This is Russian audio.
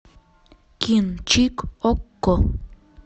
кинчик окко